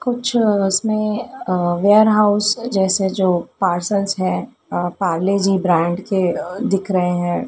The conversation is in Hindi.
कुछ इसमें अ वेयरहाउस जैसे जो पार्सल्स है अ पारले जी ब्रांड के अ दिख रहे हैं।